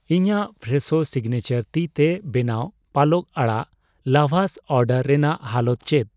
ᱤᱧᱟᱜ ᱯᱷᱨᱮᱥᱳ ᱥᱤᱜᱱᱮᱪᱟᱨ ᱛᱤᱛᱮ ᱵᱮᱱᱟᱣ ᱯᱟᱞᱚᱝ ᱟᱲᱟᱜ ᱞᱟᱵᱷᱟᱥ ᱚᱰᱟᱨ ᱨᱮᱱᱟᱜ ᱦᱟᱞᱚᱛ ᱪᱮᱫ ᱾